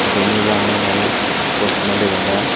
deney bangey bana sos sosma dega jai.